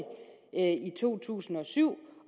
to tusind og syv